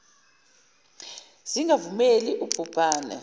zingavumeli ub hubhane